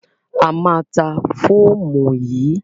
A máa ta fóòmù yìí.